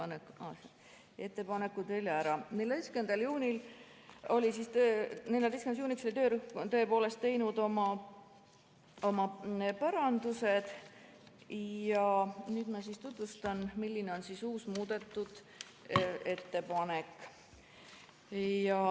14. juuniks oli töörühm tõepoolest teinud oma parandused ja ma tutvustan, milline on uus, muudetud ettepanek.